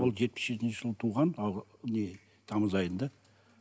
ол жетпіс жетінші жылы туған не тамыз айында